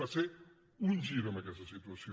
va ser un gir amb aquesta situació